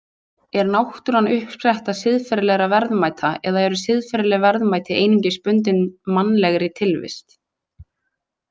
Er náttúran uppspretta siðferðilegra verðmæta eða eru siðferðileg verðmæti einungis bundin mannlegri tilvist?